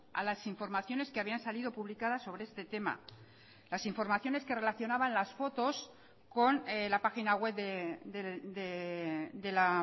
a las informaciones que habían salido publicadas sobre este tema las informaciones que relacionaban las fotos con la página web de la